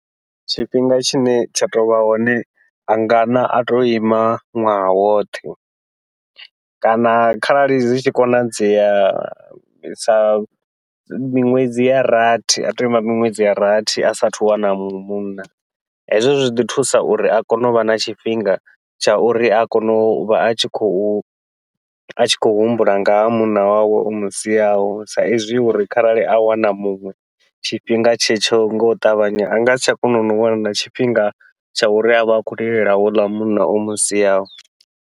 Tshifhinga tshine tsha tovha hone anga na ato ima ṅwaha woṱhe, kana kharali zwi tshi konadzea sa miṅwedzi ya rathi ato ima miṅwedzi ya rathi asa athu u wana muṅwe munna, hezwo zwi ḓi thusa uri a kone uvha na tshifhinga tsha uri a kone uvha a tshi khou a tshi khou humbula nga ha munna wawe o musiaho. Sa izwi uri kharali a wana muṅwe tshifhinga tshe tsho ngau ṱavhanya a ngasi tsha kona no wana na tshifhinga tsha uri avhe a khou lilela houḽa munna o musiaho.